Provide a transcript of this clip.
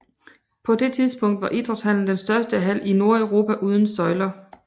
På det tidspunkt var Idrætshallen den største hal i Nordeuropa uden søjler